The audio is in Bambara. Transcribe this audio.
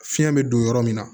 Fiɲɛ bɛ don yɔrɔ min na